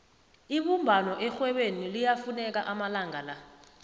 ibumbano erhwebeni liyafuneka amalanga la